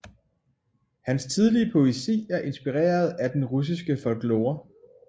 Hans tidlige poesi er inspireret af den russiske folklore